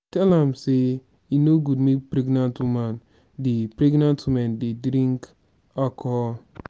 i tell am sey e no good make pregnant woman dey pregnant woman dey drink alcohol.